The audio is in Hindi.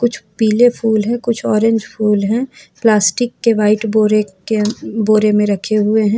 कुछ पीले फूल है कुछ ऑरेंज फूल है प्लास्टिक के व्हाइट बोरे के अं बोरे में रखे हुए हैं।